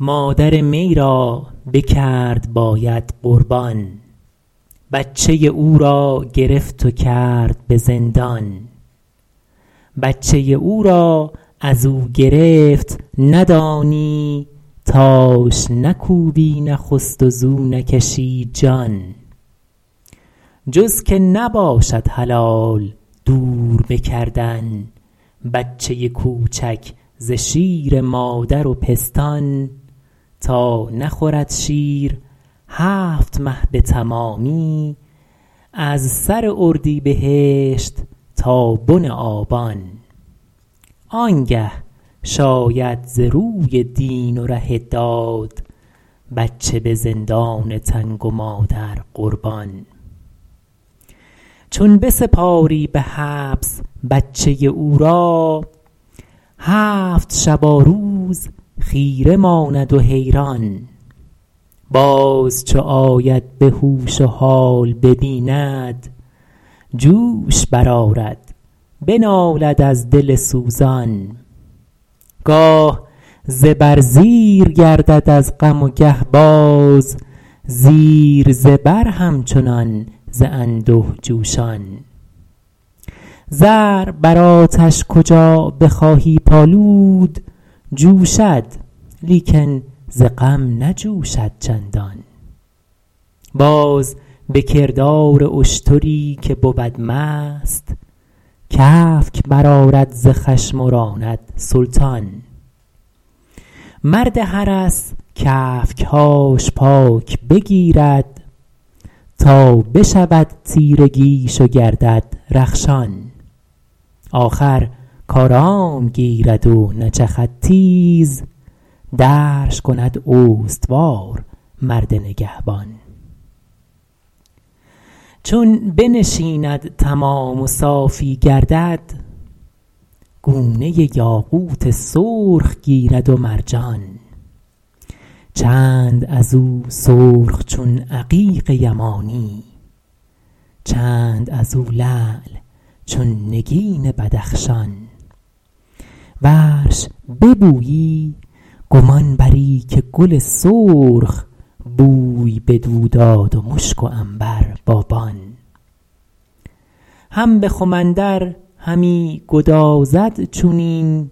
مادر می را بکرد باید قربان بچه او را گرفت و کرد به زندان بچه او را ازو گرفت ندانی تاش نکوبی نخست و زو نکشی جان جز که نباشد حلال دور به کردن بچه کوچک ز شیر مادر و پستان تا نخورد شیر هفت مه به تمامی از سر اردیبهشت تا بن آبان آنگه شاید ز روی دین و ره داد بچه به زندان تنگ و مادر قربان چون بسپاری به حبس بچه او را هفت شباروز خیره ماند و حیران باز چو آید به هوش و حال ببیند جوش بر آرد بنالد از دل سوزان گاه زبر زیر گردد از غم و گه باز زیر زبر همچنان ز انده جوشان زر بر آتش کجا بخواهی پالود جوشد لیکن ز غم نجوشد چندان باز به کردار اشتری که بود مست کفک بر آرد ز خشم و راند سلطان مرد حرس کفک هاش پاک بگیرد تا بشود تیرگیش و گردد رخشان آخر کآرام گیرد و نچخد تیز درش کند استوار مرد نگهبان چون بنشیند تمام و صافی گردد گونه یاقوت سرخ گیرد و مرجان چند ازو سرخ چون عقیق یمانی چند ازو لعل چون نگین بدخشان ورش ببویی گمان بری که گل سرخ بوی بدو داد و مشک و عنبر بابان هم به خم اندر همی گدازد چونین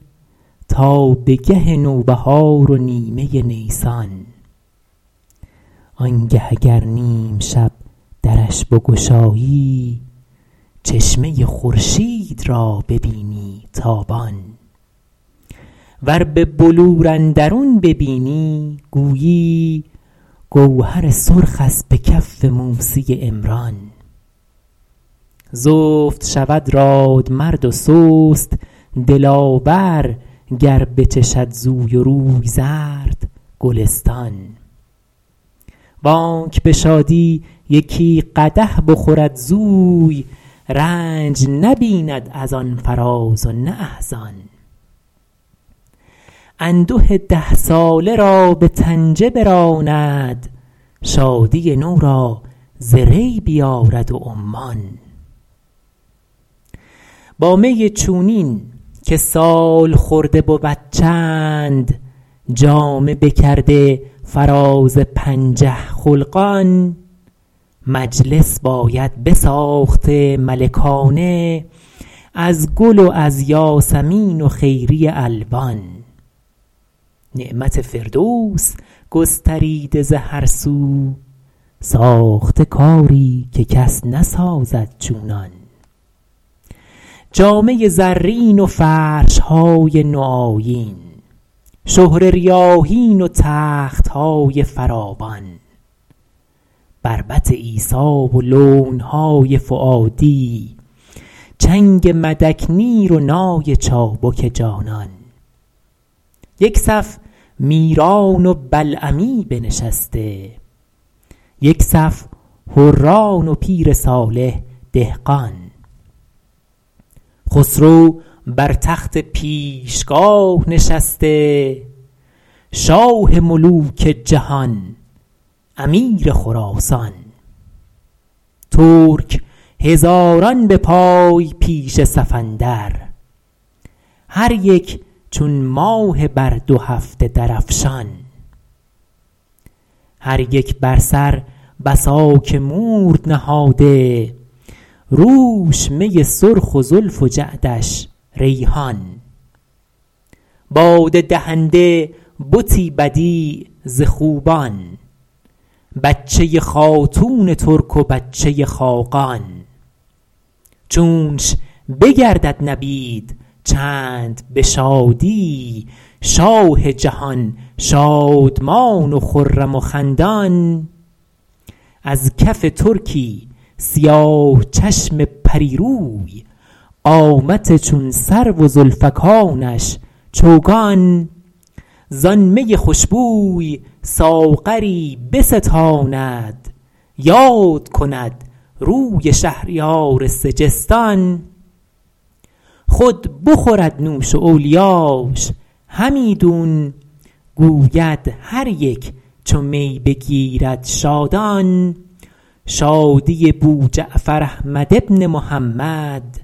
تا به گه نوبهار و نیمه نیسان آنگه اگر نیم شب درش بگشایی چشمه خورشید را ببینی تابان ور به بلور اندرون ببینی گویی گوهر سرخست به کف موسی عمران زفت شود رادمرد و سست دلاور گر بچشد زوی و روی زرد گلستان وانک به شادی یکی قدح بخورد زوی رنج نبیند از آن فرازونه احزان انده ده ساله را به طنجه براند شادی نو را ز ری بیارد و عمان با می چونین که سالخورده بود چند جامه بکرده فراز پنجه خلقان مجلس باید بساخته ملکانه از گل و از یاسمین و خیری الوان نعمت فردوس گستریده ز هر سو ساخته کاری که کس نسازد چونان جامه زرین و فرش های نو آیین شهره ریاحین و تخت های فراوان بربط عیسی و لون های فؤادی چنگ مدک نیر و نای چابک جانان یک صف میران و بلعمی بنشسته یک صف حران و پیر صالح دهقان خسرو بر تخت پیشگاه نشسته شاه ملوک جهان امیر خراسان ترک هزاران به پای پیش صف اندر هر یک چون ماه بر دو هفته درفشان هر یک بر سر بساک مورد نهاده روش می سرخ و زلف و جعدش ریحان باده دهنده بتی بدیع ز خوبان بچه خاتون ترک و بچه خاقان چونش بگردد نبیذ چند به شادی شاه جهان شادمان و خرم و خندان از کف ترکی سیاه چشم پریروی قامت چون سرو و زلفکانش چوگان زان می خوشبوی ساغری بستاند یاد کند روی شهریار سگستان خود بخورد نوش و اولیاش همیدون گوید هر یک چو می بگیرد شادان شادی بو جعفر احمد بن محمد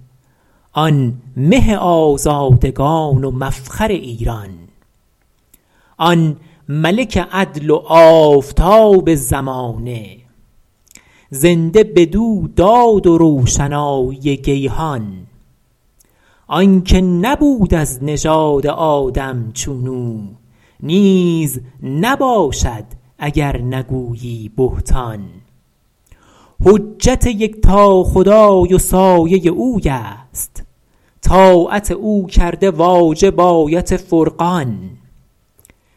آن مه آزادگان و مفخر ایران آن ملک عدل و آفتاب زمانه زنده بدو داد و روشنایی گیهان آنکه نبود از نژاد آدم چون او نیز نباشد اگر نگویی بهتان حجت یکتا خدای و سایه اوی است طاعت او کرده واجب آیت فرقان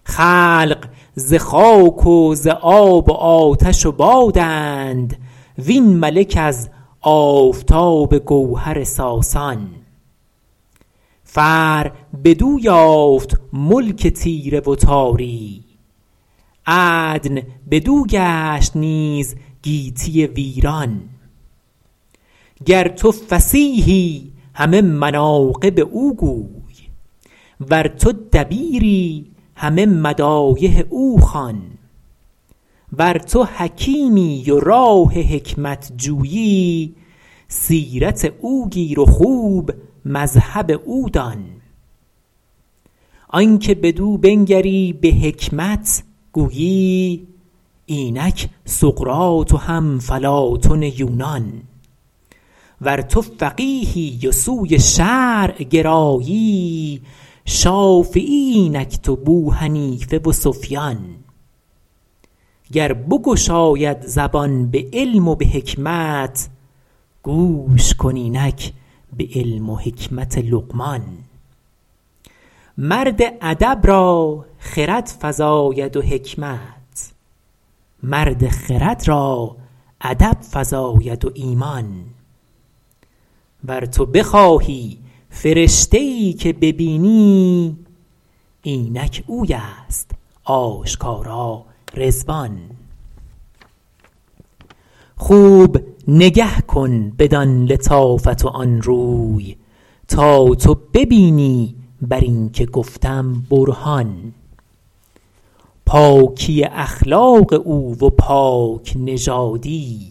خلق ز خاک و ز آب و آتش و بادند وین ملک از آفتاب گوهر ساسان فر بدو یافت ملک تیره و تاری عدن بدو گشت نیز گیتی ویران گر تو فصیحی همه مناقب او گوی ور تو دبیری همه مدایح او خوان ور تو حکیمی و راه حکمت جویی سیرت او گیر و خوب مذهب او دان آن که بدو بنگری به حکمت گویی اینک سقراط و هم فلاطن یونان ور تو فقیهی و سوی شرع گرایی شافعی اینکت و بوحنیفه و سفیان گر بگشاید زبان به علم و به حکمت گوش کن اینک به علم و حکمت لقمان مرد ادب را خرد فزاید و حکمت مرد خرد را ادب فزاید و ایمان ور تو بخواهی فرشته ای که ببینی اینک اوی است آشکارا رضوان خوب نگه کن بدان لطافت و آن روی تا تو ببینی بر این که گفتم برهان پاکی اخلاق او و پاک نژادی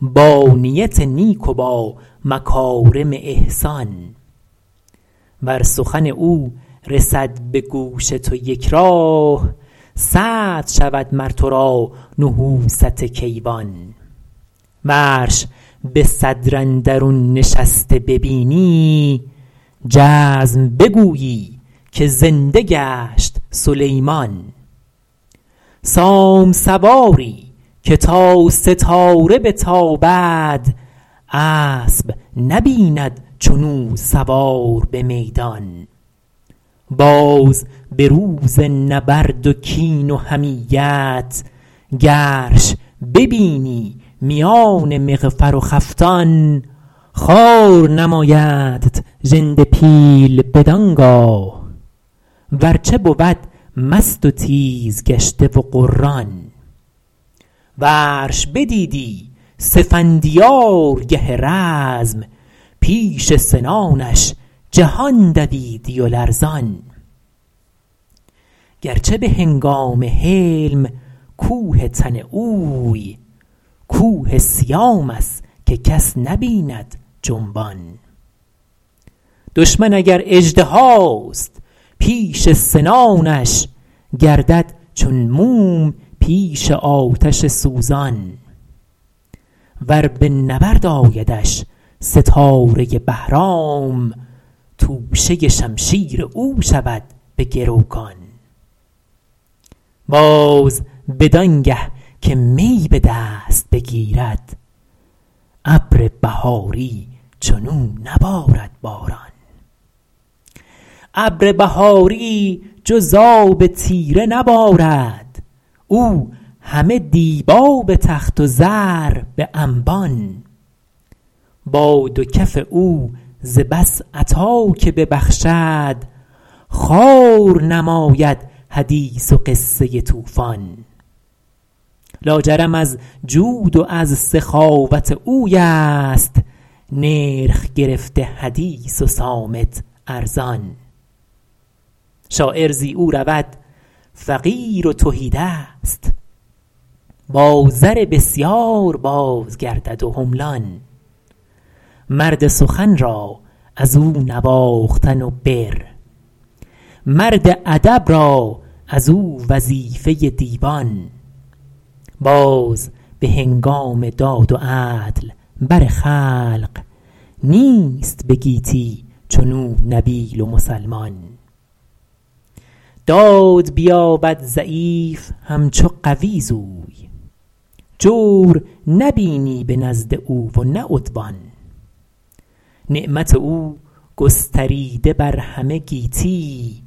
با نیت نیک و با مکارم احسان ور سخن او رسد به گوش تو یک راه سعد شود مر تو را نحوست کیوان ورش به صدر اندرون نشسته ببینی جزم بگویی که زنده گشت سلیمان سام سواری که تا ستاره بتابد اسب نبیند چنو سوار به میدان باز به روز نبرد و کین و حمیت گرش ببینی میان مغفر و خفتان خوار نمایدت ژنده پیل بدانگاه ورچه بود مست و تیز گشته و غران ورش بدیدی سفندیار گه رزم پیش سنانش جهان دویدی و لرزان گرچه به هنگام حلم کوه تن اوی کوه سیام است که کس نبیند جنبان دشمن اگر اژدهاست پیش سنانش گردد چون موم پیش آتش سوزان ور به نبرد آیدش ستاره بهرام توشه شمشیر او شود به گروگان باز بدان گه که می به دست بگیرد ابر بهاری چنو نبارد باران ابر بهاری جز آب تیره نبارد او همه دیبا به تخت و زر به انبان با دو کف او ز بس عطا که ببخشد خوار نماید حدیث و قصه توفان لاجرم از جود و از سخاوت اوی است نرخ گرفته حدیث و صامت ارزان شاعر زی او رود فقیر و تهیدست با زر بسیار بازگردد و حملان مرد سخن را ازو نواختن و بر مرد ادب را ازو وظیفه دیوان باز به هنگام داد و عدل بر خلق نیست به گیتی چنو نبیل و مسلمان داد بیابد ضعیف همچو قوی زوی جور نبینی به نزد او و نه عدوان نعمت او گستریده بر همه گیتی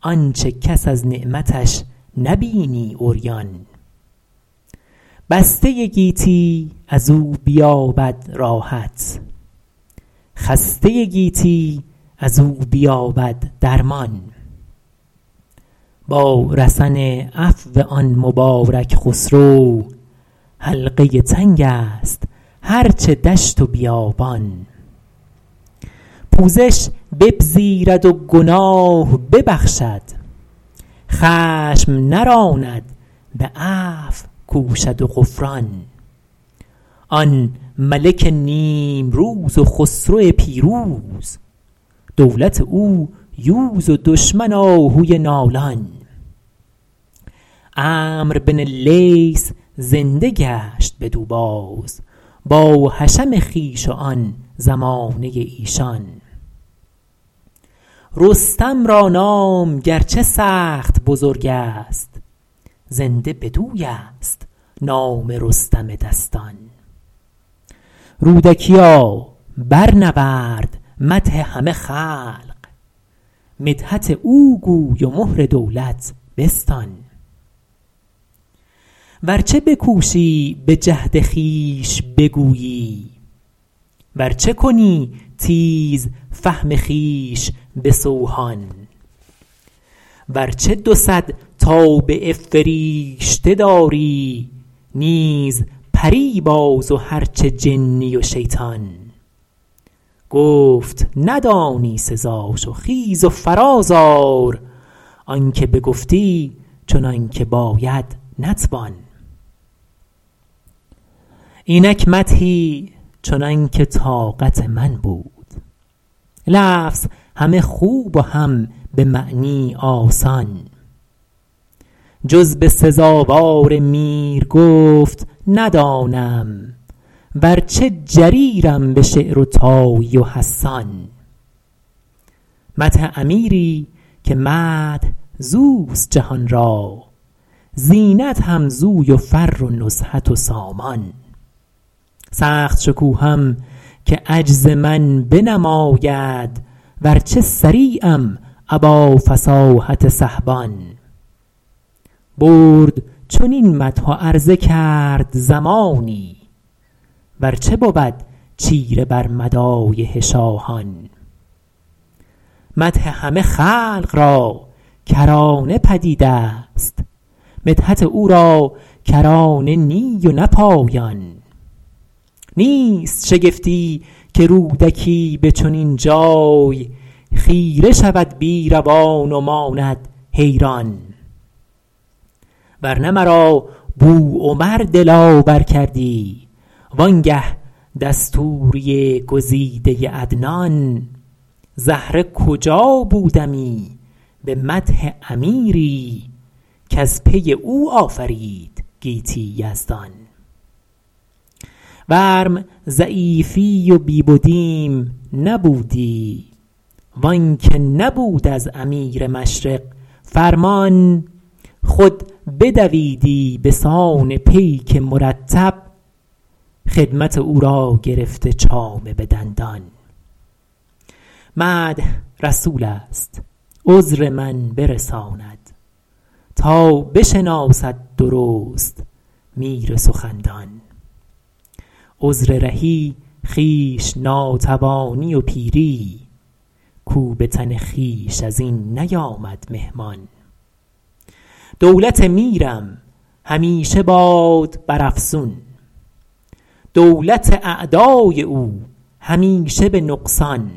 آنچه کس از نعمتش نبینی عریان بسته گیتی ازو بیابد راحت خسته گیتی ازو بیابد درمان با رسن عفو آن مبارک خسرو حلقه تنگ است هرچه دشت و بیابان پوزش بپذیرد و گناه ببخشد خشم نراند به عفو کوشد و غفران آن ملک نیمروز و خسرو پیروز دولت او یوز و دشمن آهوی نالان عمرو بن اللیث زنده گشت بدو باز با حشم خویش و آن زمانه ایشان رستم را نام گرچه سخت بزرگ است زنده بدوی ست نام رستم دستان رودکیا برنورد مدح همه خلق مدحت او گوی و مهر دولت بستان ورچه بکوشی به جهد خویش بگویی ورچه کنی تیز فهم خویش به سوهان ورچه دو صد تابعه فریشته داری نیز پری باز و هر چه جنی و شیطان گفت ندانی سزاش و خیز و فراز آر آن که بگفتی چنان که باید نتوان اینک مدحی چنانکه طاقت من بود لفظ همه خوب و هم به معنی آسان جز به سزاوار میر گفت ندانم ورچه جریرم به شعر و طایی و حسان مدح امیری که مدح زوست جهان را زینت هم زوی و فر و نزهت و سامان سخت شکوهم که عجز من بنماید ورچه صریعم ابا فصاحت سحبان برد چنین مدح و عرضه کرد زمانی ورچه بود چیره بر مدایح شاهان مدح همه خلق را کرانه پدید است مدحت او را کرانه نی و نه پایان نیست شگفتی که رودکی به چنین جای خیره شود بیروان و ماند حیران ورنه مرا بو عمر دلاور کردی وانگه دستوری گزیده عدنان زهره کجا بودمی به مدح امیری کز پی او آفرید گیتی یزدان ورم ضعیفی و بی بدیم نبودی وآن که نبود از امیر مشرق فرمان خود بدویدی بسان پیک مرتب خدمت او را گرفته چامه به دندان مدح رسول است عذر من برساند تا بشناسد درست میر سخندان عذر رهی خویش ناتوانی و پیری کو به تن خویش از این نیامد مهمان دولت میرم همیشه باد بر افزون دولت اعدای او همیشه به نقصان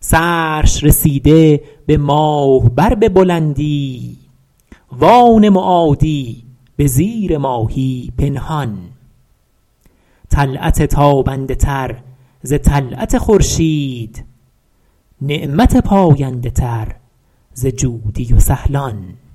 سرش رسیده به ماه بر به بلندی وآن معادی به زیر ماهی پنهان طلعت تابنده تر ز طلعت خورشید نعمت پاینده تر ز جودی و ثهلان